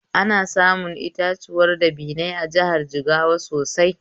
Ana samun itatuwan dabinai a jihar Jigawa sosai